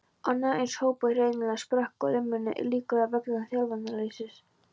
Annar eins hópur hreinlega sprakk á limminu, líklega vegna þjálfunarleysis.